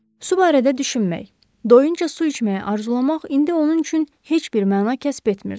Su barədə düşünmək, doyunca su içməyi arzulamaq indi onun üçün heç bir məna kəsb etmirdi.